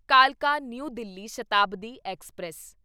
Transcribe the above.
ਕਾਲਕਾ new Delhi Shatabdi express